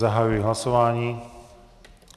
Zahajuji hlasování.